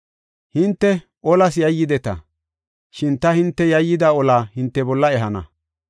Hinte olas yayyideta; shin ta hinte yayyida olaa hinte bolla ehana.